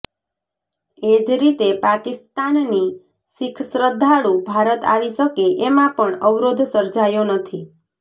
એ જ રીતે પાકિસ્તાનની શીખ શ્રદ્ધાળુ ભારત આવી શકે એમાં પણ અવરોધ સર્જાયો નથી